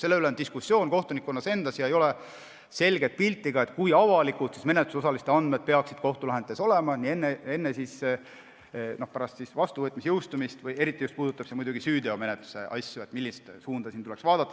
Selle üle on kohtunikkonna seas diskussioon ega ole selget pilti, kui avalikud menetlusosaliste andmed peaksid kohtulahendites olema nii enne kui ka pärast jõustumist, eriti puudutab see süüteomenetluse asju, ei ole selge, millist suunda siin tuleks vaadata.